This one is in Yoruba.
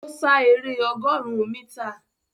Ó sá eré ọgọ́rùn-ún mítà